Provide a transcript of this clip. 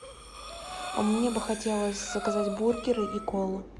а мне бы хотелось заказать бургеры и колу